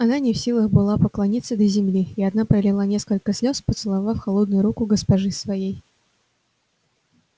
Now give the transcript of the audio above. она не в силах была поклониться до земли и одна пролила несколько слёз поцеловав холодную руку госпожи своей